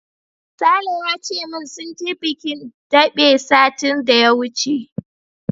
Sale ya ce min sun je bikin daɓe satin da ya wuce.